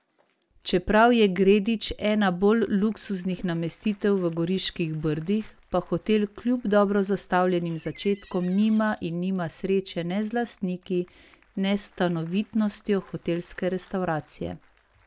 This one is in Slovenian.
Čeprav je Gredič ena bolj luksuznih namestitev v Goriških brdih, pa hotel kljub dobro zastavljenim začetkom nima in nima sreče ne z lastniki, ne s stanovitnostjo hotelske restavracije.